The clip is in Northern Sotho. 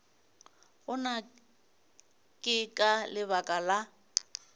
gona ke ka lebaka la